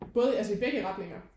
Både altså i begge retninger